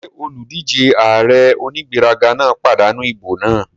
Ṣé olùdíjé ààrẹ onígbéraga náà pàdánù ìbò náà?